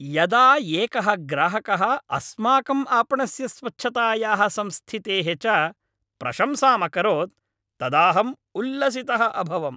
यदा एकः ग्राहकः अस्माकम् आपणस्य स्वच्छतायाः संस्थितेः च प्रशंसाम् अकरोत् तदाहम् उल्लसितः अभवम्।